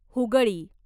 Hooghly